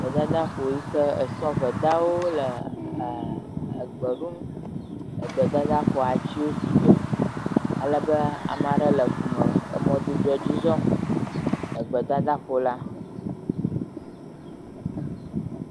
Gbedadaƒo yi ke sɔvedawo le egbe ɖum, egbedadaƒoa atiwo sugbɔ alebe ame aɖe le ŋume le mɔdodoa dzi zɔm le gbedada ƒo la.